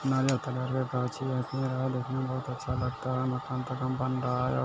गाछी लगी हैबहुत अच्छा लगता है मकान तकान बन रहा है